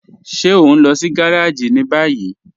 Ṣe o n lọ sí gàràjì ni báyì?